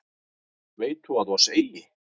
Veit þú að oss eigi